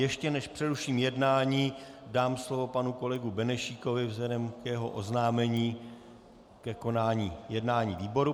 Ještě než přeruším jednání, dám slovo panu kolegu Benešíkovi vzhledem k jeho oznámení ke konání jednání výboru.